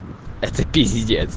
это пиздец